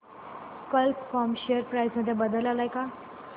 कल्प com share price मध्ये बदल आलाय का